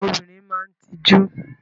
Obìnrin máa ń tijú.